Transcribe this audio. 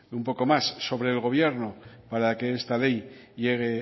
un poco más sobre el gobierno para que esta ley llegue